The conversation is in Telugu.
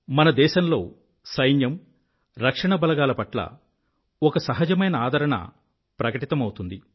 మన దేశంలో సైన్యం రక్షణ బలగాల పట్ల ఒక సహజమైన ఆదరణ ప్రకటితమౌతుంది